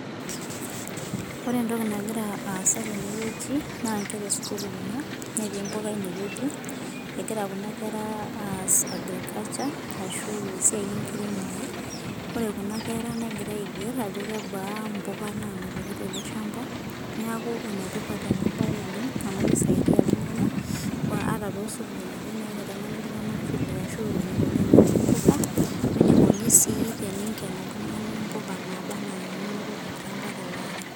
Ore entoki nagira asaa tenewueji naa Nkera esukuul Kuna netii mbuka enewueji egira Kuna kera as agriculture ashu esiai enkiremore ore Kuna kera negira aiger Ajo kebaa mbuka nanotoki telshamba neeku enetipat ena mbae oleng amu keisaidia iltung'ana ataa too sukuulini naa kitengene iltung'ana vile ashuu enikoni teneuni mbuka wee nikoni sii teninken mbuka nabaa ena ninoto tele ari